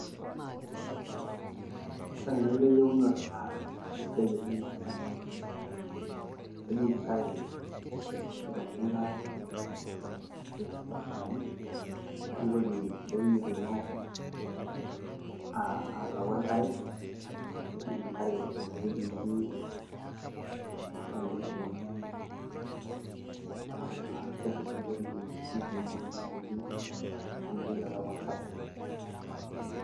ore enaitoi eunore naa kisidai oleng amu kejing eknkare irmatunda tesidano, nimitoki entoki nituuno allau enkare amu kejing enkare ine wueji netii. neeku naa kebulu amu mitoki alau enkare.